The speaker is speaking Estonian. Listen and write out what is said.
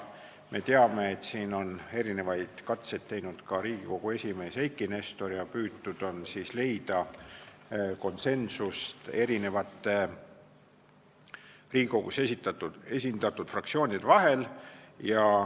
Me teame, et siin on mitmeid katseid teinud ka Riigikogu esimees Eiki Nestor ja püütud on leida konsensust Riigikogus esindatud fraktsioonide vahel.